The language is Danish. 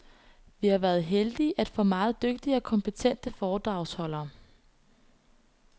Vi har været heldige at få meget dygtige og kompetente foredragsholdere.